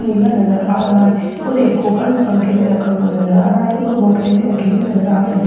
नीला colour आ रहा है और एक खोखा भी पंखे में रखा हुआ नजर आ रहा है और बोतलें भी रखी हुई नजर आ रही--